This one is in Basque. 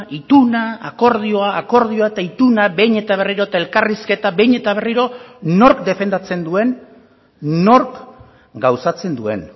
ituna akordioa akordioa eta ituna behin eta berriro eta elkarrizketa behin eta berriro nork defendatzen duen nork gauzatzen duen